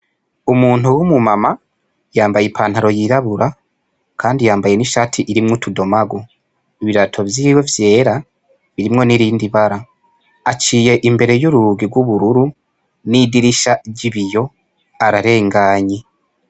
Umuntu w'umu mama yambaye ipantaro yirabura kandi yambaye n' ishati irimwo utudomagu ibirato vyiwe vyera birimwo n' irindi bara aciye imbere y' urugi gw' ubururu n' idirisha ry' ibiyo ararenganye.